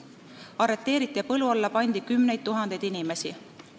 Arreteeriti ja põlu alla pandi kümneid tuhandeid inimesi.